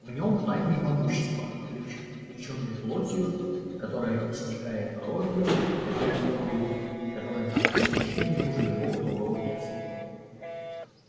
в нём тайна и могущество облечённые плотью которая истекает кровью когда её рвут и которая на вкус ничем не хуже любого другого мяса